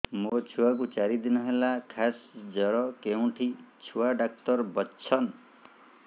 ମୋ ଛୁଆ କୁ ଚାରି ଦିନ ହେଲା ଖାସ ଜର କେଉଁଠି ଛୁଆ ଡାକ୍ତର ଵସ୍ଛନ୍